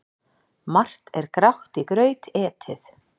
Margt er grátt í graut etið.